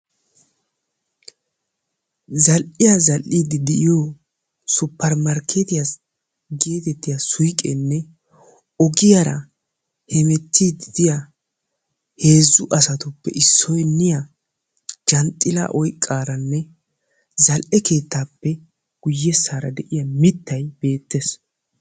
Zal"iyaa zal'iddi de'iyoo suppermarkketiya getettiyaa suykkenne ogiyaara hemettide de'iyaa heezu asatuppe issiniyaa janxxila oyqqaaranne guyye baggar de'iyaa mittay beettees.